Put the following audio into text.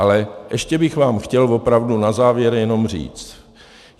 Ale ještě bych vám chtěl opravdu na závěr jenom říct.